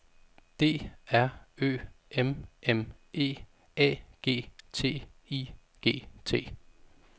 D R Ø M M E A G T I G T